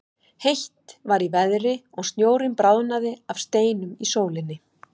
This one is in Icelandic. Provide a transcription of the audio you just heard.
Heitt var í veðri og snjórinn bráðnaði af steinum í sólinni.